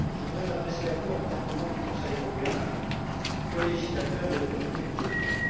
Je voudrais m'adresser à vous en tant que membre du Conseil européen, colégislateur et autorité budgétaire.